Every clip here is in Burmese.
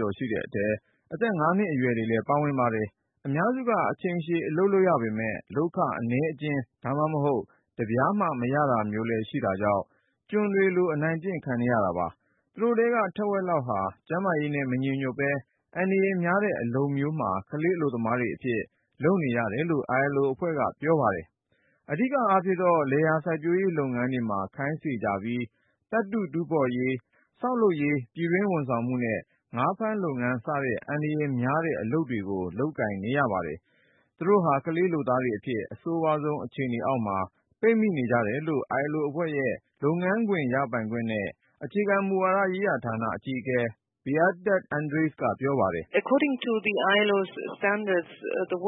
ကျော်ရှိတဲ့အထဲ အသက် ၅နှစ်အရွယ်တွေလည်း ပါဝင်ပါတယ်။ အများစုက အချိန်ရှည် အလုပ်လုပ်ရပေမဲ့ လုပ်ခ အနည်းအကျဉ်း ဒါမှမဟုတ် တပြားမှ မရတာမျိုးလည်းရှိတာကြောင့် ကျွန်တွေသဖွယ် အနိုင်ကျင့်ခံနေရတာပါ။ သူတို့ထဲက ထက်ဝက်လောက်ဟာ ကျန်းမာရေးနဲ့ မညီညွတ်ပဲ အန္တရာယ်များတဲ့ အလုပ်မျိုးမှာ ကလေးအလုပ်သမားတွေအဖြစ် လုပ်နေရ တယ်လို့ ILO အဖွဲ့ကပြောပါတယ်။ အဓိကအားဖြင့်တော့ လယ်ယာစိုက်ပျိုးရေးလုပ်ငန်းတွေမှာ ခိုင်းစေကြပြီး၊ သတ္တုတူးဖေါ်ရေး၊ ဆောက်လုပ်ရေး၊ ပြည်တွင်းဝန်ဆောင်မှု နဲ့ ငါးဖမ်းလုပ်ငန်း စတဲ့ အန္တရာယ်များတဲ့ အလုပ်တွေကို လုပ်ကိုင်နေရပါတယ်။ သူတို့ဟာ ကလေးလုပ်သားတွေအဖြစ် အဆိုးဝါးဆုံး အခြေအနေ အောက်မှာ ပိတ်မိနေကြတယ်လို့ ILO အဖွဲ့ရဲ့ လုပ်ငန်းခွင်ရပိုင်ခွင့်နဲ့ အခြေခံမူဝါဒဌာန အကြီးအကဲ Beate Andrees က ပြောပါတယ်။ ILO ရဲ့ စံ သတ်မ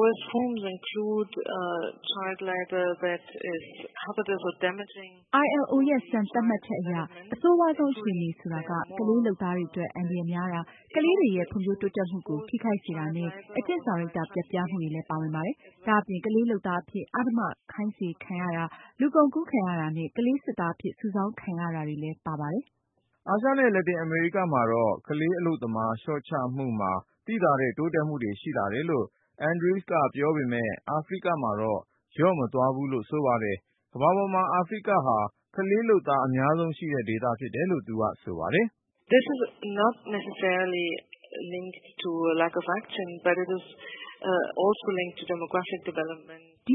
ှတ်ချက်အရအဆိုးဝါးဆုံးအခြေအနေဆိုတာက ကလေးလုပ်သားတွေအတွက် အန္တရာယ်များတာ၊ ကလေးတွေရဲ့ ဖွံ့ဖြိုး တိုးတက်မှုကို ထိခိုက်စေတာနဲ့ အကျင့်စာရိတ္တ ပျက်ပြားမှုတွေလည်း ပါဝင်ပါတယ်။ ဒါ့အပြင် ကလေးလုပ်သားအဖြစ် အဓမ္မ ခိုင်းစေခံရတာ၊ လူကုန်ကူး ခံရတာနဲ့ ကလေးစစ်သားအဖြစ် စုဆောင်းခံရတာတွေလည်း ပါပါတယ်။ အာရှနဲ့ လက်တင်အမေရိကမှာတော့ ကလေးအလုပ်သမား လျော့ချမှုမှာ သိသာတဲ့တိုးတက်မှုတွေ ရှိလာတယ်လို့ Andrees က ပြောပေမဲ့ အာဖရိကမှာတော့ လျော့မသွားဘူးလို့ ဆိုပါတယ်။ ကမ္ဘာပေါ်မှာ အာဖရိဟာ ကလေးလုပ်သား အများဆုံးရှိတဲ့ ဒေသဖြစ်တယ်လို့ သူက ဆိုပါတယ်။ ဒ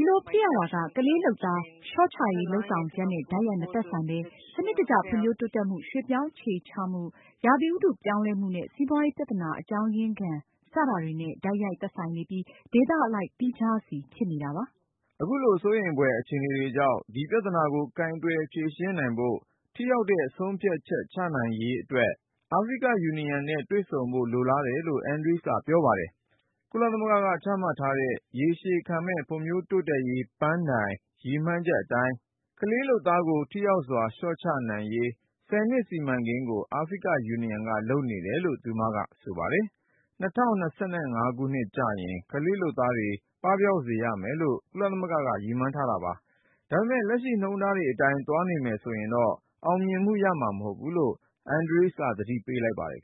ီလိုဖြစ်ရတာက ကလေးလုပ်သား လျော့ချရေးလုပ်ဆောင်ချက်နဲ့ တိုက်ရိုက် မသက်ဆိုင်ပဲ၊ စနစ်တကျ ဖွံ့ဖြိုးတိုးတက်မှု၊ ရွှေ့ပြောင်းအခြေချမှု ရာသီဥတုပြောင်းလဲမှုနဲ့ စီးပွားရေးပြသနာအကြောင်းရင်းခံ စတာတွေနဲ့ တိုက်ရိုက် သက်ဆိုင်နေပြီး ဒေသအလိုက် သီးခြားစီ ဖြစ်နေတာပါ။ အခုလို စိုးရိမ်ဖွယ်အခြေနေကြောင့် ဒီပြဿနာကို ကိုင်တွယ်ဖြေရှင်းနိုင်ဖို့ ထိရောက်တဲ့ ဆုံးဖြတ်ချက် ချနိုင်ရေးအတွက် African Union နဲ့ တွေ့ဆုံဖို့ လိုလားတယ်လို့ Andrees ကပြောပါတယ်။ ကုလသမဂ္ဂကချမှတ်ထားတဲ့ ရေရှည်ခံမယ့် ဖွံ့ဖြိုးတိုးတက်ရေးပန်းတိုင် ရည်မှန်းချက် အတိုင်း၊ ကလေးလုပ်သား ထိရောက်စွာလျော့ချရေး ၁၀-နှစ်စီမံကိန်းကို African Union ကလုပ်နေတယ်လို့ သူမက ဆိုပါတယ်။ ၂၀၂၅ ကျရင် ကလေးလုပ်သားတွေ ပပျောက်စေရမယ်လို့ ကုလသမဂ္ဂက ရည်မှန်းထား တာပါ။ ဒါပေမဲ့ လက်ရှိနှုန်းထား အတိုင်းသာ လုပ်နေလို့ကတော့ အောင်မြင်မှုရမှာ မဟုတ်ဘူးလို့ Andrees က သတိပေးလိုက်ပါတယ်